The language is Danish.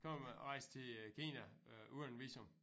Kan man rejse til øh Kina øh uden visum